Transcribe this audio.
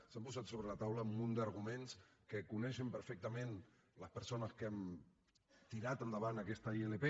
s’han posat sobre la taula un munt d’arguments que coneixen perfectament les persones que han tirat endavant aquesta ilp